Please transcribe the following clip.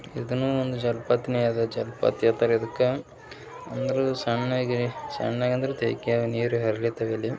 ಇದನ್ನು ಒಂದು ಜಲಪಾತನೇ ಅದೇ ಜಲಪಾತ ಕರಿಯದಿಕ್ಕ ಅಂದ್ರು ಸಣ್ಣಗೆ ಸಣ್ಣಗೆ ಅಂದ್ರೆ ನೀರು ಹರಿಯುತ್ತೆ ಇಲ್ಲಿ.